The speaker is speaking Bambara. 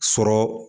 Sɔrɔ